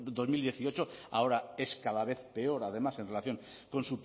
dos mil dieciocho ahora es cada vez peor además en relación con